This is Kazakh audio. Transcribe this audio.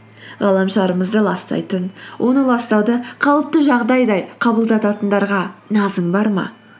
ғаламшарымызды ластайтын оны ластауды қалыпты жағдайдай қабылдататындарға назың бар ма